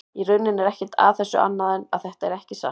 Í rauninni er ekkert að þessu annað en að þetta er ekki satt.